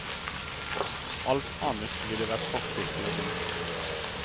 Alt annet ville vært kortsiktig og dumt.